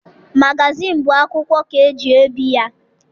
Magazịịnụ bụ akwụkwọ ka eji ebi ya.